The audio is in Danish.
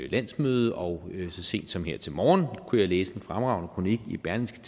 landsmøde og så sent som her til morgen kunne jeg læse en fremragende kronik i berlingske